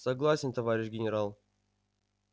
согласен товарищ генерал